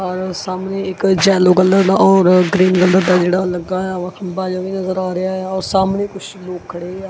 ਔਰ ਸਾਹਮਨੇ ਇੱਕ ਜੈੱਲੋ ਕਲਰਡ ਔਰ ਗ੍ਰੀਨ ਕਲਰ ਦਾ ਜੇਹੜਾ ਓਹ ਲੱਗਾਯਾ ਵਾ ਬਾਜਾ ਵੀ ਨਜਰ ਆ ਰਿਹਾ ਯਾ ਔਰ ਸਾਹਮਣੇ ਕੁੱਛ ਲੋਕ ਖੜੇ ਆਂ।